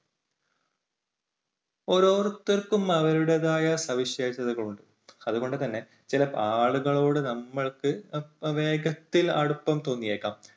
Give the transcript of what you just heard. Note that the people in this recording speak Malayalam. ഓരോരുത്തർക്കും അവരുടേതായ സവിശേഷതകൾ ഉണ്ട് അതുകൊണ്ടുതന്നെ ചില ആളുകളോട് നമ്മൾക്ക് വേഗത്തിൽ അടുപ്പം തോന്നിയേക്കാം.